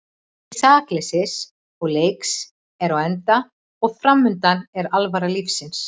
Tími sakleysis og leiks er á enda og framundan er alvara lífsins.